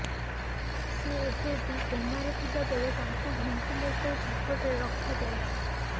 ସେ ଏବେବି କୋମାରେ ଥିବା ବେଳେ ତାଙ୍କୁ ଭେଣ୍ଟିଲେଟର ସପୋର୍ଟରେ ରଖାଯାଇଛି